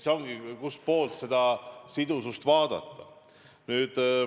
See olenebki sellest, kust poolt seda sidusust vaadata.